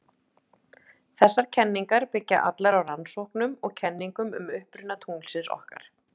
Þessar kenningar byggja allar á rannsóknum og kenningum um uppruna tunglsins okkar.